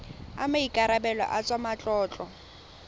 a maikarebelo a tsa matlotlo